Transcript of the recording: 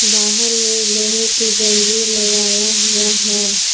बाहर में लोहे की जंजीर लगाया हुआ है।